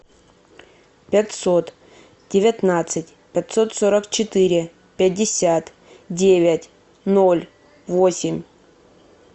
пятьсот девятнадцать пятьсот сорок четыре пятьдесят девять ноль восемь